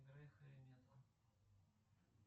играй хеви металл